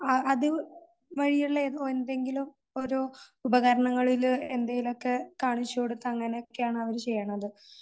അതുവഴി ഉള്ള ഓരോ എന്തെങ്കിലും ഓരോ ഉപകരണങ്ങളിൽ എന്തെങ്കിലും ഒക്കെ കാണിച്ചു കൊടുത്ത് അങ്ങനെയൊക്കെ ആണ് അവര് ചെയ്യണത്.